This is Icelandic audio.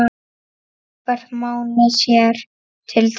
Róbert Máni sér til þess.